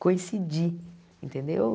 Coincidir, entendeu?